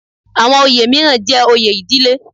Àwọn oyè mìíràn jẹ́ oyè ìdílé